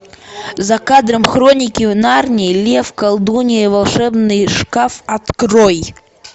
за кадром хроники нарнии лев колдунья и волшебный шкаф открой